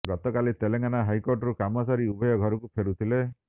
ଗତକାଲି ତେଲେଙ୍ଗାନା ହାଇକୋର୍ଟରୁ କାମ ସାରି ଉଭୟ ଘରକୁ ଫେରୁଥିଲେ